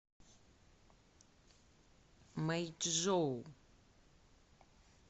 мэйчжоу